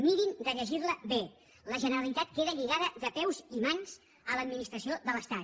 mirin de llegir la bé la generalitat queda lligada de peus i mans a l’administració de l’estat